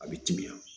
A bɛ timiya